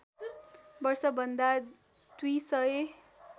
वर्षभन्दा २ सय